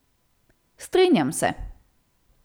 Strinjam se.